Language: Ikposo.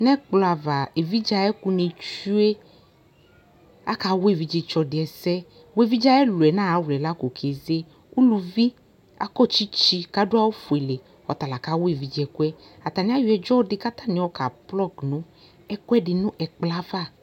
ɛkplɔ ava evidze ayɛko ni tsue aka wa evidze tsɔ di ɛsɛ boa evidze ayi ɛloɛ no ayi awuɛ lako ke ze uluvi akɔ tsitsi ko ado awu fuele ɔta la ka wa evidze ɛkoɛ atani ayɔ ɛdzɔ ko atani ayɔ ka plug no ɛkoɛdi no ɛkplɔɛ ava